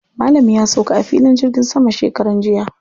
Malam ya sauka a filin jirgin sama shekaran jiya.